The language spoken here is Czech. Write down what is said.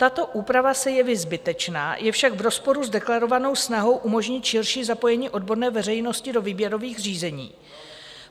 Tato úprava se jeví zbytečná, je však v rozporu s deklarovanou snahou umožnit širší zapojení odborné veřejnosti do výběrových řízení.